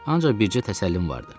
Ancaq bircə təsəllim vardı.